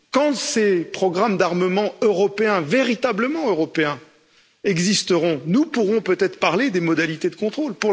Quand ces programmes d'armement européens, véritablement européens, existeront, nous pourrons peut être parler des modalités de contrôle.